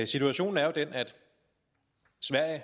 situationen er jo den